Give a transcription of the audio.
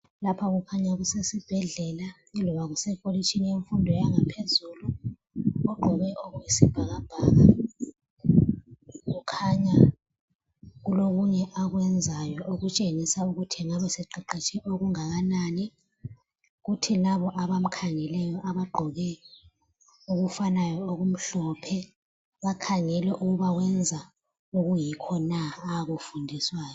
Lapha kukhanya kusesibhedlela loba kusekolitshini yezemfundo yangaphezulu. Ogqoke okuyisibhakabhaka kukhanya kulokunye akwenzayo okutshengisa ukuthi engabe seqeqetshe okungakanani, kuthi labo abamkhangeleyo abagqoke okufanayo okumhlophe, bakhangele ukuba wenza okuyikho na akufundiswayo?